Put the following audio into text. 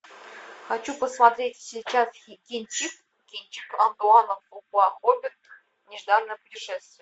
хочу посмотреть сейчас кинчик антуана фукуа хоббит нежданное путешествие